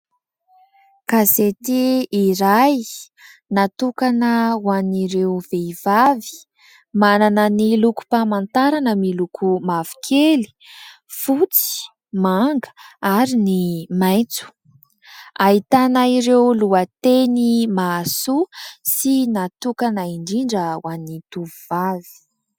Gazety iray natokana ho an'ireo vehivavy, manana ny lokom-pamantarana miloko mavokely, fotsy manga ary ny maitso. Ahitana ireo lohateny mahasoa sy natokana indrindra ho an'ny tovovavy.